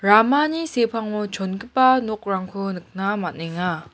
ramani sepango chongipa nokrangko nikna man·enga.